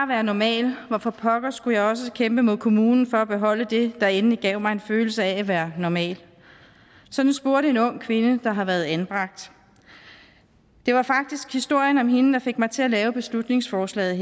være normal hvorfor pokker skulle jeg så også kæmpe mod kommunen for at beholde det der endelig gav mig en følelse af at være normal sådan spurgte en ung kvinde der har været anbragt det var faktisk historien om hende der fik mig til at lave beslutningsforslaget